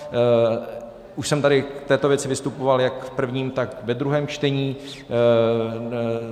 Už jsem tady k této věci vystupoval jak v prvním, tak ve druhém čtení.